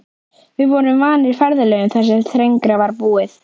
Við vorum vanir ferðalögum þar sem þrengra var búið.